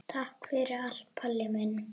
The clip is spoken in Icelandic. Takk fyrir allt, Palli minn.